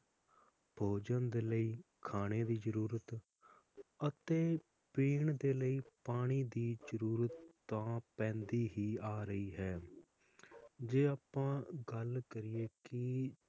ਭੋਜਨ ਦੇ ਲਈ ਖਾਣੇ ਦੀ ਜਰੂਰਤ ਅਤੇ ਪੀਣ ਦੇ ਲਈ ਪਾਣੀ ਦੀ ਜਰੂਰਤ ਤਾਂ ਪੈਂਦੀ ਹੀ ਆ ਰਹੀ ਹੈ ਜੇ ਅੱਪਾਂ ਗੱਲ ਕਰੀਏ ਕੀ,